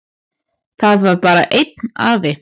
Það var bara einn afi.